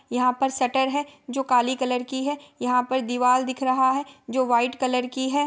यहाँ पर शटर है जो काली कलर की है| यहाँ पर दीवाल दिख रहा है जो व्हाइट कलर की है।